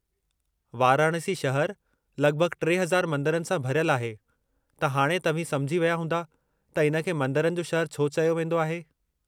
वाराणसी शहर लगि॒भगि॒ 3000 मंदरनि सां भरियलु आहे, त हाणे तव्हीं समुझी विया हूंदा त इन खे 'मंदिरनि जो शहरु' छो चयो वींदो आहे।